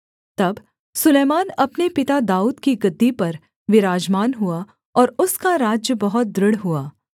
तब सुलैमान अपने पिता दाऊद की गद्दी पर विराजमान हुआ और उसका राज्य बहुत दृढ़ हुआ